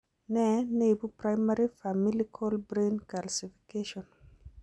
Nee neibu primary familical brain calcification